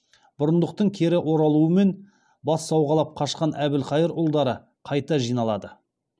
бұрындықтың кері оралуымен бас сауғалап қашқан әбілқайыр ұлдары қайта жиналады